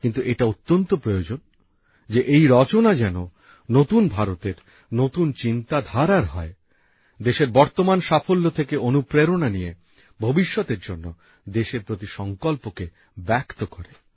কিন্তু এটা অত্যন্ত প্রয়োজন যে এই রচনা যাতে নতুন ভারতের নতুন চিন্তাধারার হয় দেশের বর্তমান সাফল্য থেকে অনুপ্রেরণা নিয়ে ভবিষ্যতের জন্য দেশের প্রতি সংকল্পকে ব্যক্ত করে